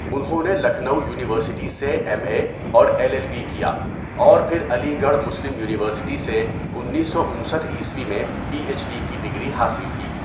انہوں نے لکھنؤ یونیورسٹی سے ایم اے اور ایل ایل بی کیا اور پھر علی گڑھ مسلم یونیورسٹی سے انیسو انسٹھء میں پی ایچ ڈی کی ڈگری حاصل کی.